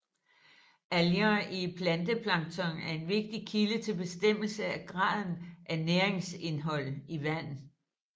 Alger i planteplankton er en vigtig kilde til bestemmelse af graden af næringsindhold i vand